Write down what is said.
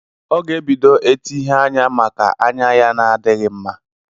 Ọ ga-ebido eti ihe anya maka anya ya na-adịghị mma.